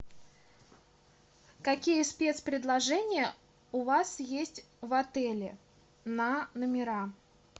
какие спец предложения у вас есть в отеле на номера